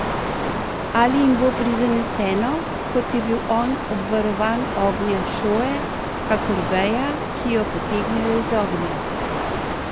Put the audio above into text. Ali jim bo prizaneseno, kot je bil on obvarovan ognja šoe, kakor veja, ki jo potegnejo iz ognja?